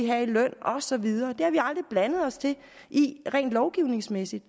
have i løn og så videre det har vi aldrig blandet os i rent lovgivningsmæssigt